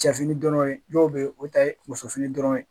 Cɛ fini dɔrɔn ye dɔw be yen o ta ye muso fini dɔrɔn ye